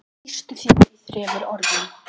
Lýstu þér í þremur orðum.